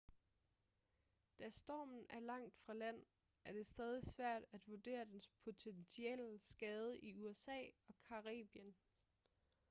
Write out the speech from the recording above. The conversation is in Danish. da stormen er langt fra land er det stadig svært at vurdere dens potentielle skade i usa og caribien